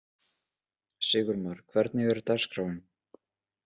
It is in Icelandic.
Sigurmar, hvernig er dagskráin?